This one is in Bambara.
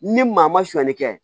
Ni maa ma suɲɛli kɛ